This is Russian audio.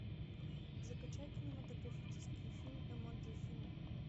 закачай кинематографический фильм эмоджи фильм